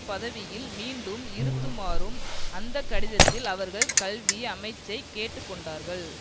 பதவியில் மீண்டும் இருத்துமாறும் அந்த கடிதத்தில் அவர்கள் கல்வி அமைச்சைக் கேட்டுக்கொண்டார்கள்